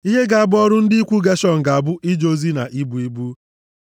“Ihe ga-abụ ọrụ ndị ikwu Geshọn ga-abụ ije ozi na ibu ibu.